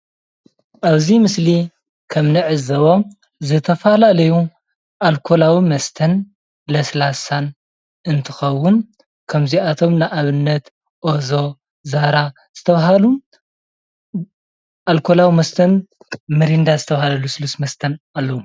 ኣብዚ ምስሊ ከም እንዕዘቦ ዝተፈላለዩ ኣልኮላዊ መስተን ለስላሳን እንትከውን፣ ካብ እዚኣቶም ንኣብነት ኦዞ፣ ዛራ ዝተባሃሉ ኣልኮላዊ መስተን ሚሪንዳ ዝተባሃሉ ልስሉስ መስተን ኣለው፡፡